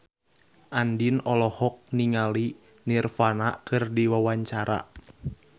Andien olohok ningali Nirvana keur diwawancara